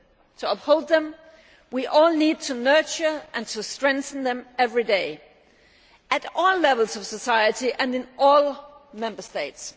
To uphold them, we all need to nurture and to strengthen them every day at all levels of society and in all Member States.